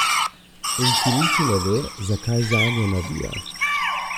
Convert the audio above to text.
In ki niti ne ve, zakaj zanjo navija!